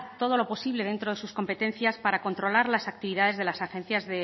todo lo posible dentro de sus competencias para controlar las actividades